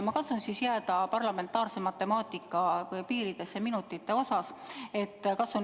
Ma katsun jääda parlamentaarse matemaatika piiridesse minutite arvestamisel.